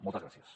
moltes gràcies